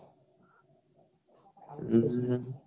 ହଁ ହଁ